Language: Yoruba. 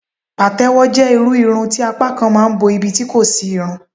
patewo je irú Irun ti apá kan ma n bo ibi tí kò sí irun.